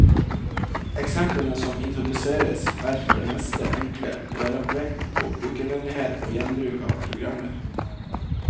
Eksemplene som introduseres, er for det meste enkle, og det er lagt vekt på brukervennlighet og gjenbruk av programmer.